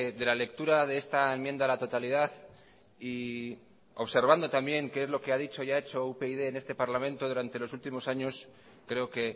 de la lectura de esta enmienda a la totalidad y observando también qué es lo que ha dicho y hecho upyd en este parlamento durante los últimos años creo que